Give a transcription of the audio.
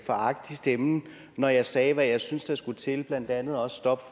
foragt i stemmen når jeg sagde hvad jeg synes der skulle til blandt andet også stop